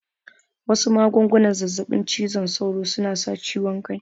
Wasu magungunan zazzaɓin cizon sauron suna sa ciwon ciki